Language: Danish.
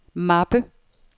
mappe